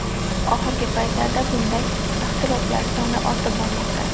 Oxirgi paytlarda bunday ixtiloflar soni ortib bormoqda.